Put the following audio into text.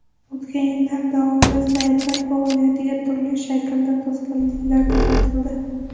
O‘tgan yillar davomida saytlar faoliyatiga turli shaklda to‘sqinliklar kuzatildi.